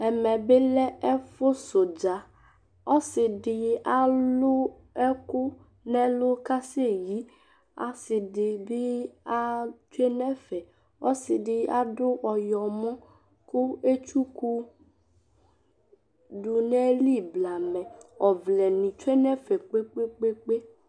Ɛmɛbi lɛ ɛfusʋdzaƆsiɖi aalʋ ɛkʋ n'ɛlʋ k'asɛyiiAasiɖibi aaɖʋ n'fɛƆsiɖi aɖʋ ɔyɔmɔ kʋ etdukuɖʋ n'ayili blamɛƆvlɛ ni tsue n'ɛfɛ, kpekpekpe